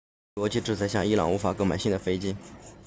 在国际制裁下伊朗无法购买新的飞机